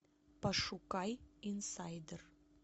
пошукай инсайдер